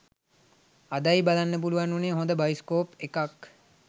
අදයි බලන්න පුලුවන් වුනේ හොද බයිස්කෝප් එකක්